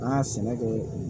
An ka sɛnɛ kɛ